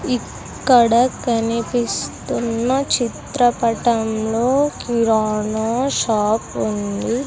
ఇక్కడ కనిపిస్తున్న చిత్రపటంలో కిరాణా షాప్ ఉంది.